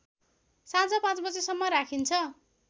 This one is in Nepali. साँझ ५ बजेसम्म राखिन्छ